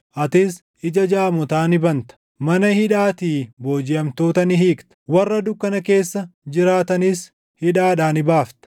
atis ija jaamotaa ni banta; mana hidhaatii boojiʼamtoota ni hiikta; warra dukkana keessa jiraatanis hidhaadhaa ni baafta.